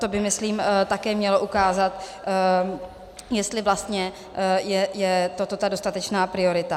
To by myslím také mělo ukázat, jestli vlastně je to ta dostatečná priorita.